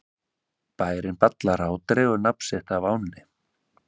Bærinn Ballará dregur nafn sitt af ánni.